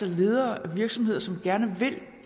ledere af virksomheder som gerne vil